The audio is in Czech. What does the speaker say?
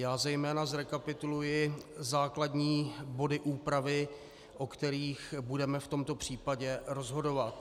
Já zejména zrekapituluji základní body úpravy, o kterých budeme v tomto případě rozhodovat.